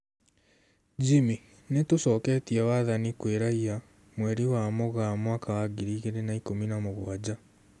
Jimmy: Nitũcoketie wathani kwĩ raia, mweri wa Mũgaa mwaka wa ngiri igĩrĩ na ikũmi na mũgwanja